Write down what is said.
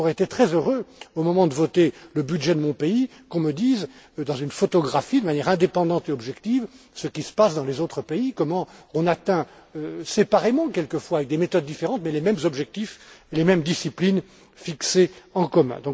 J'aurais été très heureux au moment de voter le budget de mon pays, qu'on me dise dans une photographie, de manière indépendante et objective, ce qui se passe dans les autres pays, comment on atteint, séparément quelquefois, avec des méthodes différentes, les mêmes objectifs, les mêmes disciplines fixées en commun.